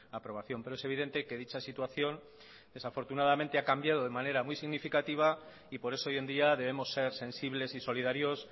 a aprobación pero es evidente que dicha situación desafortunadamente ha cambiado de manera muy significativa y por eso hoy en día debemos ser sensibles y solidarios